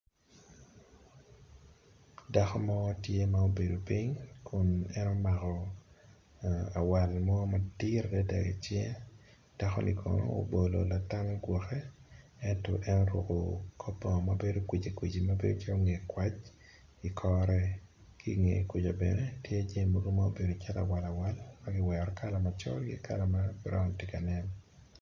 Dako mo tye ma obedo ping kun en omako awale mo madit adada i cinge dako ni kono obolo latam i gwake ento en oruko kor bongo mabedo kwici kwic mabedo calo nge kwac ikore ki nge kuca bene tye jami mobedo calo awal awal magiwero kala macol ki kala ma broun tye ka nen.